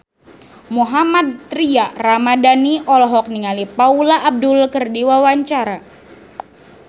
Mohammad Tria Ramadhani olohok ningali Paula Abdul keur diwawancara